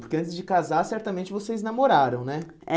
Porque antes de casar, certamente, vocês namoraram, né? É